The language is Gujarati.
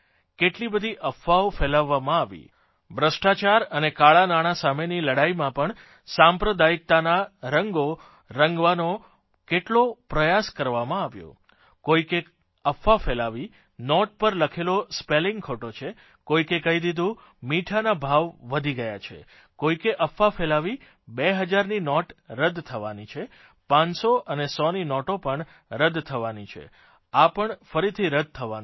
કેટલી બધી અફવાઓ ફેલાવવામાં આવી ભ્રષ્ટાચાર અને કાળાંનાણાં સામેની લડાઇમે પણ સાંપ્રદાયિકતાના રંગો રંગવાનો પણ કેટલો પ્રયાસ કરવામાં આવ્યો કોઇકે અફવા ફેલાવી નોટ પર લખેલો સ્પેલિંગ ખોટો છે કોઇકે કહી દીધું મીઠાના ભાવ વધી ગયા છે કોઇકે અફવા ફેલાવી 2000ની નોટ રદ્દ થવાની છે 500 અને 100ની નોટો પણ રદ્દ થવાની છે આ પણ ફરીથી રદ્દ થવાનું છે